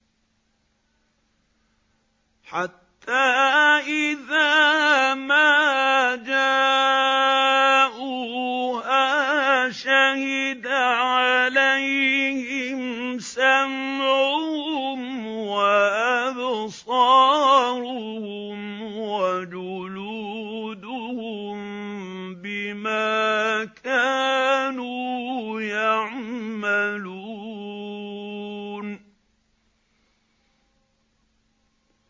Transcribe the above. حَتَّىٰ إِذَا مَا جَاءُوهَا شَهِدَ عَلَيْهِمْ سَمْعُهُمْ وَأَبْصَارُهُمْ وَجُلُودُهُم بِمَا كَانُوا يَعْمَلُونَ